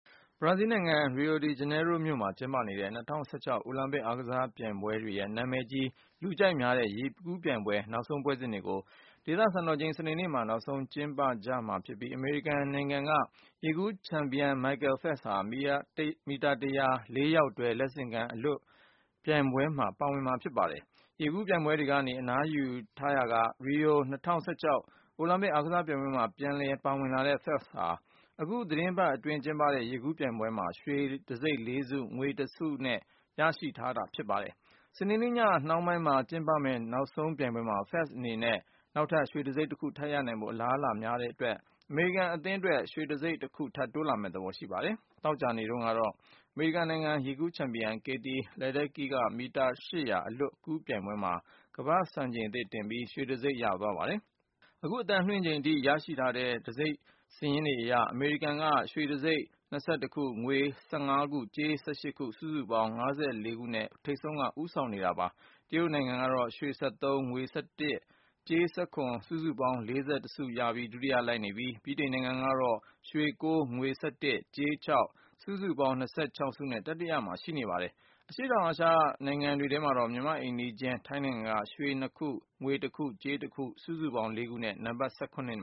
ဘရာဇီးနိုင်ငံ၊ Rio de Janeiro မြို့မှာ ကျင်းပနေတဲ့ ၂၀၁၆ အိုလံပစ် အားကစား ပြိုင်ပွဲတွေရဲ့ နံမည်ကြီး လူကြိုက်များတဲ့ ရေကူးပြိုင်ပွဲ နောက်ဆုံး ပွဲစဉ်တွေကို ဒေသ စံတော်ချိန် စနေနေ့မှာ နောက်ဆုံး ကျင်းပကြမှာဖြစ်ပြီး အမေရိကန်နိုင်ငံက ရေကူး ချန်ပီယံ Michael Phelps ဟာ မီတာ ၁၀၀ ၊ ၄ ယောက်တွဲ လက်ဆင့်ကမ်း အလွတ် ကူးပြိုင်ပွဲမှာ ပါဝင်မှာ ဖြစ်ပါတယ်။ ရေကူးပြိုင်ပွဲတွေကနေ အနားယူထားရာက Rio ၂၀၁၆ အိုလံပစ် အားကစား ပြိုင်ပွဲမှာ ပြန်လည် ပါဝင်လာတဲ့ Phelps ဟာ အခုသီတင်းပတ်အတွင်း ကျင်းပ ခဲ့တဲ့ ရေကူးပြိုင်ပွဲတွေမှာ ရွှေတံဆိပ် ၄ နဲ့ ငွေတံဆိပ် ၁ ခု ရရှိထားပြီး ဖြစ်ပါတယ်။ စနေနေ့ည နှောင်းပိုင်းမှာ ကျင်းပမယ့် နောက်ဆုံးပြိုင်ပွဲမှာ Phelps အနေနဲ့ နောက် ထပ် ရွှေတံဆိပ် ၁ ခု ထပ်ရနိုင်ဖို့ အလားအလာများတဲ့အတွက် အမေရိကန် အသင်း အတွက်လည်း ရွှေတံဆိပ် ၁ ခု ထပ်တိုးမယ့် သဘောရှိနေပါတယ်။ သောကြာနေ့တုန်းကတော့ အမေရိကန်နိုင်ငံက ရေကူးချန်ပီယံ Katie Ledecky က မီတာ ၈၀၀ အလွတ်ကူးပြိုင်ပွဲမှာ ကမ္ဘာ့စံချိန်သစ်တင်ပြီး ရွှေတံဆိပ်ဆုကို ဆွတ်ခူး သွားခဲ့ပါတယ်။ အခု အသံလွှင့်ချိန်အထိ ရရှိထားတဲ့ ဆုတံဆိပ်စာရင်းအရကတော့ အမေရိကန်က ရွှေတံဆိပ် ၂၁ ခု၊ ငွေတံဆိပ် ၁၅ ခု၊ ကြေးတံဆိပ် ၁၈ ခု၊ စုစုပေါင်း ဆုတံဆိပ် ၅၄ ခုနဲ့ ထိပ်ကနေ ဦးဆောင်နေပါတယ်။ တရုတ်နိုင်ငံကတော့ ရွှေ ၁၃ ခု၊ ငွေ ၁၁ ခု၊ ကြေး ၁၇ ခု၊ စုစုပေါင်း ဆုတံဆိပ် ၄၁ ခုနဲ့ ဒုတိယ လိုက်နေပြီး ဗြိတိန်နိုင်ငံက ရွှွေ ၉ ခု၊ ငွေ ၁၁ ခု၊ ကြေး ၆ ခု၊ စုစုပေါင်း ဆုတံဆိပ် ၂၆ ခုနဲ့ တတိယ နေရာမှာ ရှိနေပါတယ်။ အရှေ့တောင် အာရှနိုင်ငံတွေ ထဲမှာတော့ မြန်မာ့ အိမ်နီးချင်း ထိုင်းနိုင်ငံက ရွှေတံဆိပ် ၂ ခု၊ ငွေ ၁ ခု၊ ကြေး ၁ ခု၊ စုစုပေါင်း ဆုတံဆိပ် ၄ ခုနဲ့ နံပတ်